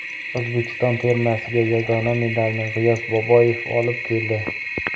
O‘zbekiston termasiga yagona medalni G‘iyos Boboyev olib keldi.